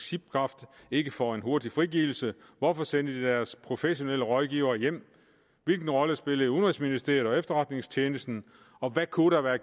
shipcraft ikke for en hurtig frigivelse hvorfor sendte de deres professionelle rådgivere hjem hvilken rolle spillede udenrigsministeriet og efterretningstjenesten og hvad kunne der være